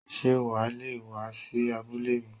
Sé wà a le è wá sí abúlé mi?